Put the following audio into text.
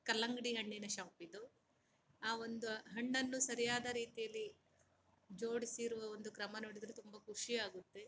ಕಲ್ಲಂಗಡಿ ಹಣ್ಣಿನ ಶಾಪ್ ಇದು ಆ ಒಂದು ಹಣ್ಣನ್ನು ಸರಿಯಾದ ರೀತಿಯಲ್ಲಿ ಜೋಡಿಸುವ ಕ್ರಮಾನು ನೋಡಿದರೆ ತುಂಬಾ ಖುಷಿಯಾಗುತ್ತೆ.